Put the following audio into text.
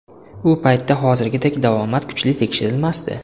U paytda hozirgidek davomat kuchli tekshirilmasdi.